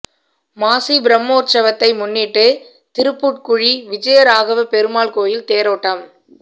மாசி பிரம்மோற்சவத்தை முன்னிட்டு திருப்புட்குழி விஜயராகவ பெருமாள் கோயில் தேரோட்டம்